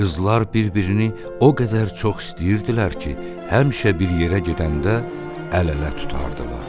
Qızlar bir-birini o qədər çox istəyirdilər ki, həmişə bir yerə gedəndə əl-ələ tutardılar.